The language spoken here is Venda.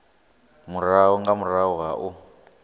murahu nga murahu ha u